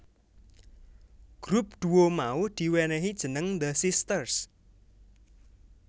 Grup duo mau di wenehi jeneng The Sisters